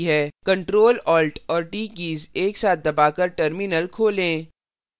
ctrl alt और t keys एक साथ दबाकर terminal खोलें